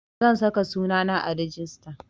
Zan saka sunana a rijista